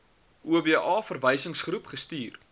oba verwysingsgroep gestuur